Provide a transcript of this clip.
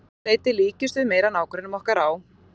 Að því leyti líkjumst við meira nágrönnum okkar á